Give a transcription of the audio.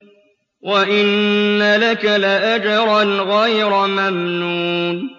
وَإِنَّ لَكَ لَأَجْرًا غَيْرَ مَمْنُونٍ